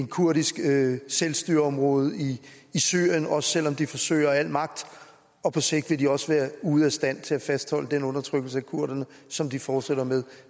kurdisk selvstyreområde i syrien også selv om de forsøger af al magt og på sigt vil de også være ude af stand til at fastholde den undertrykkelse af kurderne som de fortsætter med